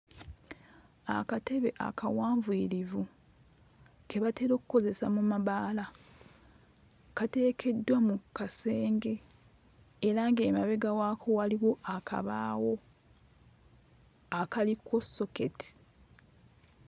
Akatebe akawunvuyirivu ke batera okkozesa mu mabaala, kateekeddwa mu kasenge era ng'emabega waako waliwo akabaawo akaliko soketi.